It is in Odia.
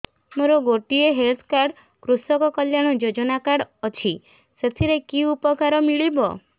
ମୋର ଗୋଟିଏ ହେଲ୍ଥ କାର୍ଡ କୃଷକ କଲ୍ୟାଣ ଯୋଜନା କାର୍ଡ ଅଛି ସାଥିରେ କି ଉପକାର ମିଳିବ